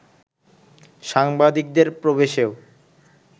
সাংবাদিকদের প্রবেশেও